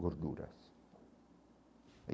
gorduras.